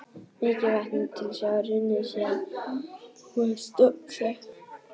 Mikið vatn er til sjávar runnið síðan hún var stofnsett.